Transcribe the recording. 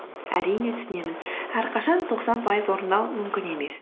әрине түсінемін әрқашан тоқсан пайыз орындау мүмкін емес